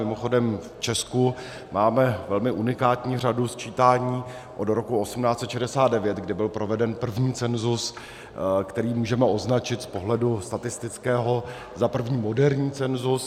Mimochodem v Česku máme velmi unikátní řadu sčítání od roku 1869, kdy byl proveden první cenzus, který můžeme označit z pohledu statistického za první moderní cenzus.